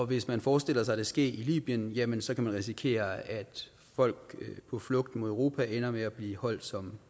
hvis man forestiller sig det ske i libyen jamen så kan man risikere at folk på flugt mod europa ender med at blive holdt som